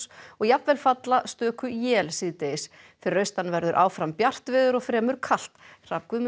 og jafnvel falla stöku él síðdegis fyrir austan verður áfram bjart veður og fremur kalt Hrafn Guðmundsson